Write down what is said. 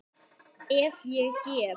Ef ég get.